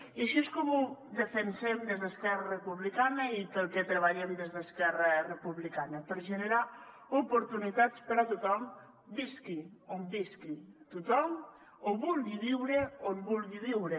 i així és com ho defensem des d’esquerra republicana i pel que treballem des d’esquerra republicana per generar oportunitats per a tothom visqui on visqui tothom o vulgui viure on vulgui viure